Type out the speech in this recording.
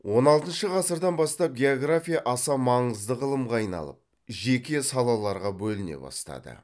он алтыншы ғасырдан бастап география аса маңызды ғылымға айналып жеке салаларға бөліне бастады